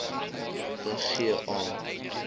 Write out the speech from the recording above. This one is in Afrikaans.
te gee aan